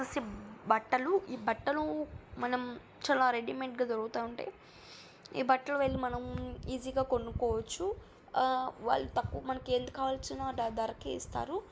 ఇవి వచ్చేసి బట్టలు ఈ బట్టలు మనం చాలా రెడీమేడ్ గా దొరుకుతాఉంటాయి . ఈ బట్టలు వెళ్ళు ఈసీ గా కొనుకోవచ్చు. ఆ వాలు తక్కు మనకు ఎంత కావాల్సిన ధరకే ఇస్తారు.